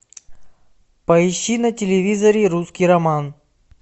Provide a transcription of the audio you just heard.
поищи на телевизоре русский роман